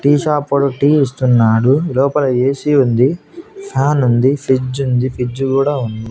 Tea shop వాడు tea ఇస్తున్నాడు లోపల ఏ_సీ ఉంది ఫ్యాన్ ఉంది ఫ్రిజ్ ఉంది ఫ్రిజ్ కూడా ఉంది.